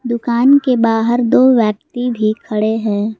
दुकान के बाहर दो व्यक्ति भी खड़े हैं।